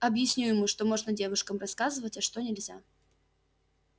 объясню ему что можно девушкам рассказывать а что нельзя